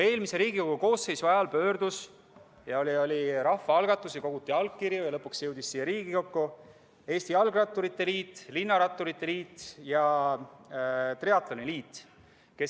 Eelmise Riigikogu koosseisu ajal koguti rahvaalgatuse korras allkirju ja lõpuks jõudis siia Riigikokku pöördumine Eesti Jalgratturite Liidult, Eesti Linnaratturite Liidult ja Eesti Triatloni Liidult .